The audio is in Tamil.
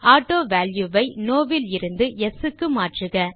ஆட்டோவல்யூ ஐ நோ இலிருந்து யெஸ் க்கு மாற்றுக